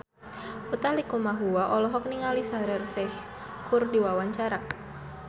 Utha Likumahua olohok ningali Shaheer Sheikh keur diwawancara